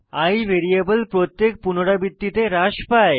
i variable প্রত্যেক পুনরাবৃত্তিতে হ্রাস পায়